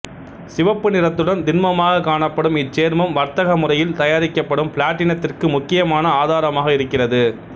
சிவப்பு நிறத்துடன் திண்மமாகக் காணப்படும் இச்சேர்மம் வர்த்தக முறையில் தயாரிக்கப்படும் பிளாட்டினத்திற்கு முக்கியமான ஆதாரமாக இருக்கிறது